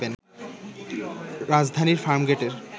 রাজধানীর ফার্মগেটের